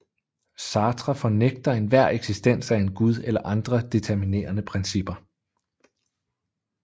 Sartre fornægter enhver eksistens af en gud eller andre determinerende principper